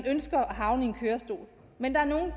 ønsker at havne i en kørestol men der er nogle